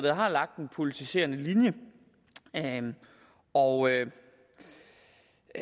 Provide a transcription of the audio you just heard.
har lagt en politiserende linje og